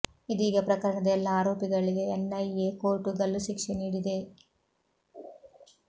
ಇದೀಗ ಪ್ರಕರಣದ ಎಲ್ಲಾ ಆರೋಪಿಗಳಿಗೆ ಎನ್ಐಎ ಕೋರ್ಟ್ ಗಲ್ಲು ಶಿಕ್ಷೆ ನೀಡಿದೆ